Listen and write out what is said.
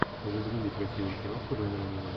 загрузи красивую киноху жанра аниме